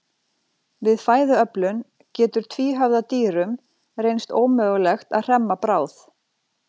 Við fæðuöflun getur tvíhöfða dýrum reynst ómögulegt að hremma bráð.